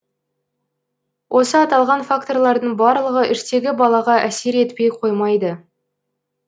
осы аталған факторлардың барлығы іштегі балаға әсер етпей қоймайды